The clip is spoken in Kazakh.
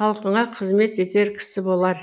халқына қызмет етер кісі болар